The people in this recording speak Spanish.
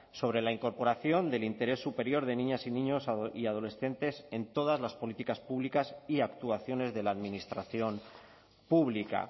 sobre la incorporación del interés superior de niñas y niños y adolescentes en todas las políticas públicas y actuaciones de la administración pública